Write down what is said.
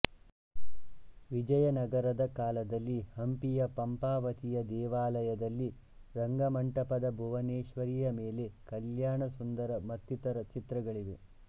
ವಿಜಯನಗರದ ಕಾಲದಲ್ಲಿ ಹಂಪಿಯ ಪಂಪಾವತಿಯ ದೇವಾಲಯದಲ್ಲಿ ರಂಗಮಂಟಪದ ಭುವನೇಶ್ವರಿಯ ಮೇಲೆ ಕಲ್ಯಾಣಸುಂದರ ಮತ್ತಿತ್ತರ ಚಿತ್ರಗಳಿವೆ